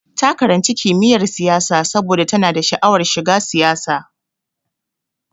Ta karanci kimiyyar siyasa saboda tana sha'awar shiga siyasa.